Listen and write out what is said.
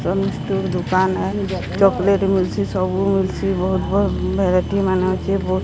ଦୁକାନ ଏ। ଚକୋଲେଟ୍ ମିଲଛି। ସବୁ ମିଲଛି। ବୋହୁତ ବୋହୁତ ଭେରାଇଟି ମାନେ ଥି ବୋହୁତ --